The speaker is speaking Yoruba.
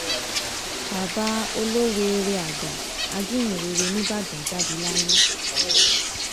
bàbá olóweere àgbà ajíhìnrere nìbàdàn jáde láyé